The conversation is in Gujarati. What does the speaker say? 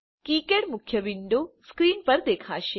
કિકાડ મુખ્ય વિન્ડો સ્ક્રીન પર દેખાશે